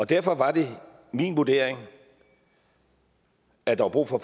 derfor var det min vurdering at der var brug for